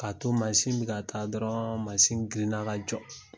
Ka to manzin bi ka taa dɔrɔn manzin girinna ka jɔ.